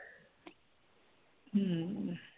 हम्म